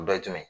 Dɔ ye jumɛn ye